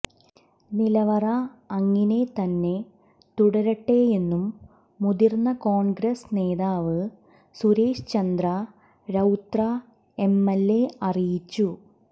നിലവറ അങ്ങിനെ തന്നെ തുടരട്ടെയെന്നും മുതിര്ന്ന കോണ്ഗ്രസ് നേതാവ് സുരേഷ് ചന്ദ്ര രൌത്രേ എംഎല്എ അറിയിച്ചു